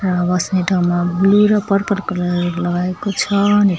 यहाँ बस्ने ठाउँमा ब्लु र पर्पल कलरहरु लगाएको छ।